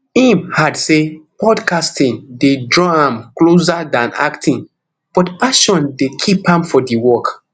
im add say podcasting dey draw am closer dan acting but passion dey keep am for di work